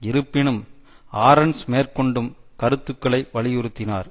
இருப்பினும் ஆரென்ஸ் மேற்கொண்டும் கருத்துக்களை வலியுறுத்தினார்